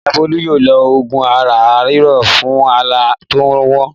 Ìyá Bólú yóò lo òògùn ara ríro fún ara tó ń ro wọ́n?